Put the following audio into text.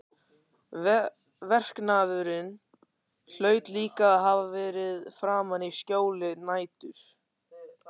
Verknaðurinn hlaut líka að hafa verið framinn í skjóli nætur.